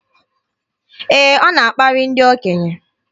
Ee, ọ na-akparị ndị okenye.